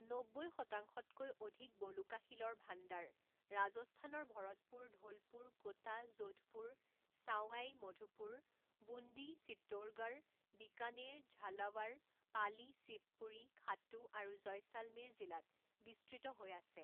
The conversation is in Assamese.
নব্বৈ শতাংশতকৈ অধিক বলুকাশিলৰ ভাণ্ডাৰ ৰাজস্থানৰ ভৰতপুৰ ধোলপুৰ কোটা যোধপুৰ ছাওয়াই মাধোপুৰ বুন্দী চিত্তোৰগড় বিকানেৰ ঝালাৱাৰ পালি শিৱপুৰী খাটু আৰু জয়শালমেৰ জিলাত বিস্তৃত হৈ আছে।